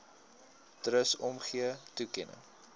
trust omgee toekenning